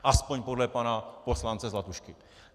Aspoň podle pana poslance Zlatušky.